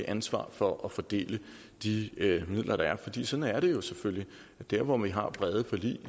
ansvar for at fordele de midler der er fordi sådan er det jo selvfølgelig dér hvor vi har brede forlig